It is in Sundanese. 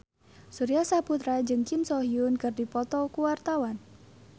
Surya Saputra jeung Kim So Hyun keur dipoto ku wartawan